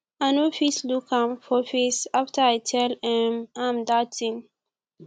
i no fit look am for face after i tell um am dat thing